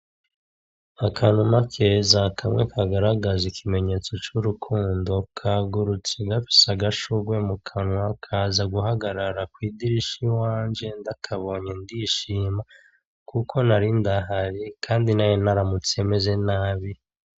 Akanuma keza, kamwe kagaragaza ikimenyetso c'urukundo, kagurutse gafise agashurwe mu kanwa kaza guhagarara kw'idirisha iwanje, ndakabonye ndishima kuko nari ndahari kandi nari naramutse meze nabi.